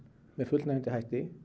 með fullnægjandi hætti